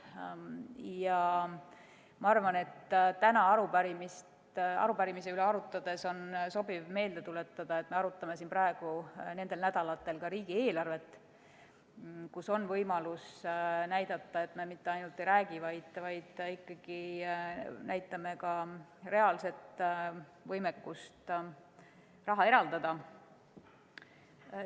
Ja ma arvan, et täna arupärimise teema üle arutades on sobiv meelde tuletada, et me arutame siin praegu nendel nädalatel ka riigieelarvet, kus on võimalus näidata, et me mitte ainult ei räägi, vaid meil on ka reaalne võimekus raha eraldada.